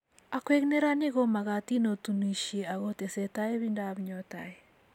Akwek neranik komagatin otinisie ak ketesetai ibindap nyo tai